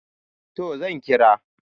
to zan kira